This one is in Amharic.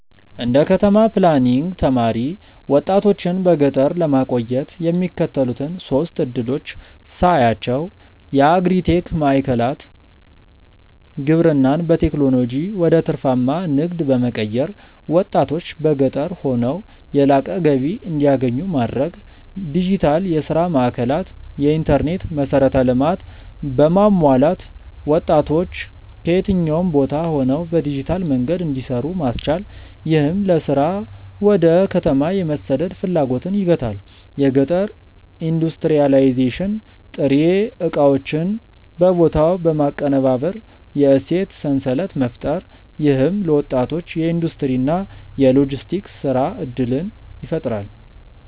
እንደ ከተማ ፕላኒንግ ተማሪ፣ ወጣቶችን በገጠር ለማቆየት የሚከተሉትን ሶስት ዕድሎች ሳያቸው የአግሪ-ቴክ ማዕከላት: ግብርናን በቴክኖሎጂ ወደ ትርፋማ ንግድ በመቀየር፣ ወጣቶች በገጠር ሆነው የላቀ ገቢ እንዲያገኙ ማድረግ። ዲጂታል የሥራ ማዕከላት: የኢንተርኔት መሠረተ ልማት በማሟላት ወጣቶች ከየትኛውም ቦታ ሆነው በዲጂታል መንገድ እንዲሰሩ ማስቻል፣ ይህም ለሥራ ወደ ከተማ የመሰደድ ፍላጎትን ይገታል። የገጠር ኢንዱስትሪያላይዜሽን: ጥሬ ዕቃዎችን በቦታው በማቀነባበር የእሴት ሰንሰለት መፍጠር። ይህም ለወጣቶች የኢንዱስትሪ እና የሎጂስቲክስ የሥራ ዕድል ይፈጥራል።